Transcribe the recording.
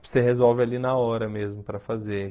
Você resolve ali na hora mesmo para fazer.